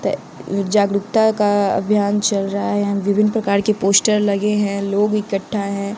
जागरूकता का अभियान चल रहा है यहां विभिन्न प्रकार के पोस्टर लगे हैं लोग इकट्ठा हैं।